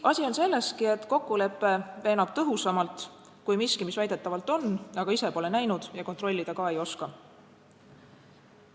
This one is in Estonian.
Asi on selleski, et kokkulepe veenab tõhusamalt kui miski, mis väidetavalt on, aga mida ise pole näinud ja kontrollida ka ei oska.